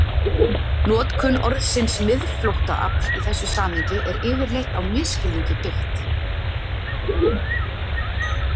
Notkun orðsins miðflóttaafl í þessu samhengi er yfirleitt á misskilningi byggð.